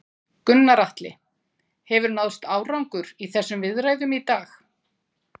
Gunnar Atli: Hefur náðst árangur í þessum viðræðum í dag?